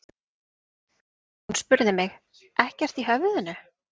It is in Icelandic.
Hún spurði mig: ekkert í höfðinu?